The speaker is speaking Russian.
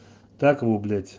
так